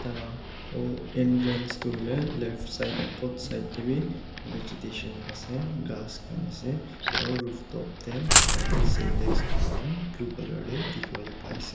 taila hall entrance toh hoile left side aru both side te bi vegetation ase grass khan ase aru rooftop te tate sintex duita blue colour te dikhi wo le pari ase.